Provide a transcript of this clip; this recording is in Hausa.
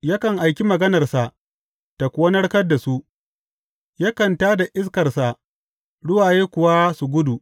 Yakan aiki maganarsa ta kuwa narkar da su; yakan tā da iskarsa, ruwaye kuwa su gudu.